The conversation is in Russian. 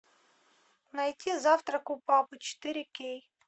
найти завтрак у папы четыре кей